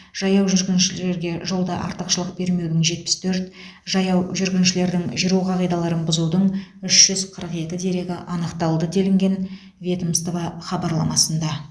жаяу жүргіншілерге жолда артықшылық бермеудің жетпіс төрт жаяу жүргіншілердің жүру қағидаларын бұзудың үш жүз қырық екі дерегі анықталды делінген ведомство хабарламасында